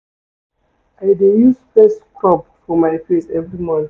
I dey use face scrub for my face every morning.